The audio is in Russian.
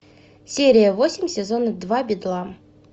серия восемь сезона два бедлам